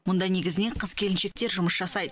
мұнда негізінен қыз келіншектер жұмыс жасайды